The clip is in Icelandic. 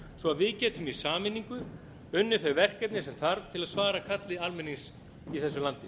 svo við getum í sameiningu unnið þau verkefni sem þarf til að svara kalli almennings í þessu landi